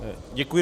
Děkuji.